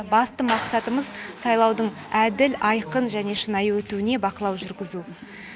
басты мақсатымыз сайлаудың әділ айқын және шынайы өтуіне бақылау жүргізу